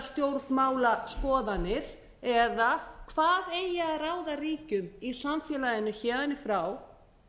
stjórnmálaskoðanir eða hvað eigi að ráða ríkjum í samfélaginu héðan í frá